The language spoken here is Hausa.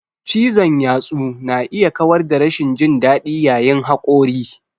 Cizon yatsu na iya kawar da rashin jin daɗi yayin haƙori.